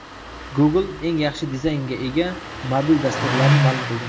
Google eng yaxshi dizaynga ega mobil dasturlarni ma’lum qildi.